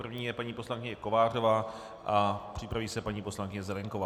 První je paní poslankyně Kovářová a připraví se paní poslankyně Zelienková.